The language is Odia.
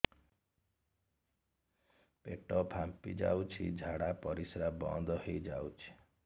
ପେଟ ଫାମ୍ପି ଯାଉଛି ଝାଡା ପରିଶ୍ରା ବନ୍ଦ ହେଇ ଯାଉଛି